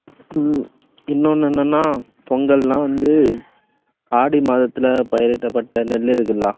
உம் இன்னொன்னு என்னன்னா, பொங்கல்னா வந்து ஆடி மாதத்துல பயிரிடப்பட்ட நெல் இருக்குல்ல